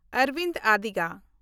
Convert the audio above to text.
Arobind Odiga